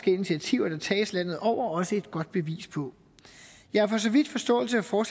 initiativer der tages landet over også et godt bevis på jeg har for så vidt forståelse for